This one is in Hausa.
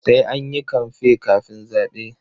Sai an yi kamfe kafin zaɓe.